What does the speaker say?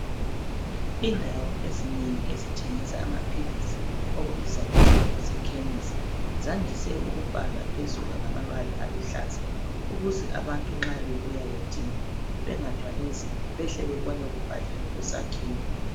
Indawo ezinengi ezithengisa amaphilisi okubizwa kuthiwa kuse khemisi zandise ukubhalwa phezulu ngamabala aluhlahlaza ukuze abantu nxa bebuya bedinga bengathwalinzima behle bebone kubhaliwe kusakhiwo